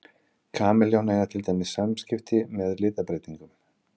Kameljón eiga til dæmis samskipti með litabreytingum.